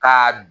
Ka